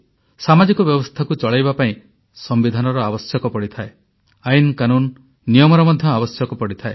ସାମାଜିକ ବ୍ୟବସ୍ଥାକୁ ଚଳାଇବା ପାଇଁ ସମ୍ବିଧାନର ଆବଶ୍ୟକ ପଡିଥାଏ ଆଇନକାନୁନ୍ ନିୟମର ମଧ୍ୟ ଆବଶ୍ୟକ ହୋଇଥାଏ